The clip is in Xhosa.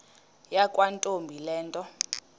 yakwantombi le nto